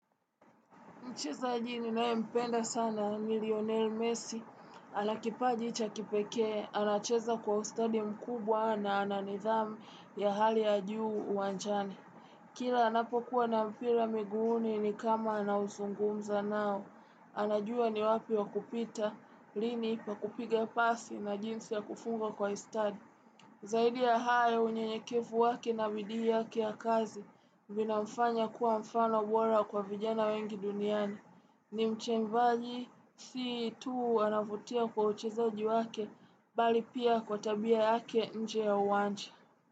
Mcheza ninae mpenda sana milioner mesi, anakipaji chakipeke, anacheza kwa ustadi mkubwa na ananithamu ya hali ya juu uwanjani Kila anapokuwa na mpila miguni ni kama anauzungumza nao, anajua ni wapi wa kupita, lini pa kupiga pasi na jinsi ya kufunga kwa ustadi. Zaidi ya hayo unye nyekevu waki na vidi ya kia kazi, binamfanya kuwa mfano wola kwa vijana wengi duniani. Ni mche mbaji, si tuu anafutia kwa uchezaji wake, bali pia kwa tabia yake nje ya uwanja.